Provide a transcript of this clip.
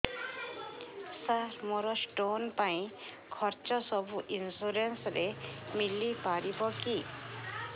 ସାର ମୋର ସ୍ଟୋନ ପାଇଁ ଖର୍ଚ୍ଚ ସବୁ ଇନ୍ସୁରେନ୍ସ ରେ ମିଳି ପାରିବ କି